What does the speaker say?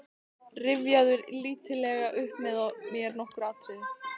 Rifjaðu lítillega upp með mér nokkur atriði.